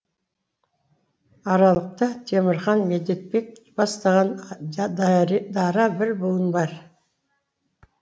аралықта темірхан медетбек бастаған дара бір буын бар